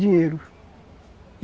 Dinheiro.